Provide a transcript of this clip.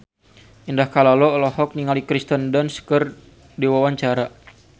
Indah Kalalo olohok ningali Kirsten Dunst keur diwawancara